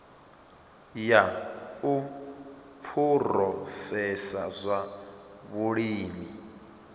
ya u phurosesa zwa vhulimi